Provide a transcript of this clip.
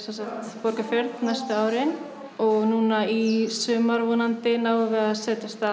Borgarfjörð næstu árin og núna í sumar vonandi náum við að setja af stað